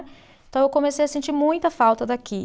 Então eu comecei a sentir muita falta daqui.